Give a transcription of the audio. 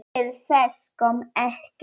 Til þess kom ekki.